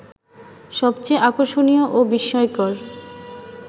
সবচেয়ে আকর্ষণীয় ও বিস্ময়কর